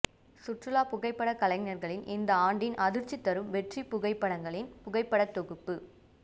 சுற்றுலா புகைப்படக்கலைஞர்களின் இந்த ஆண்டின் அதிர்ச்சி தரும் வெற்றி புகைப்படங்களின் புகைப்படத்தொகுப்பு